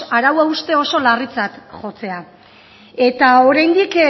arau hauste oso larritzat jotzea eta oraindik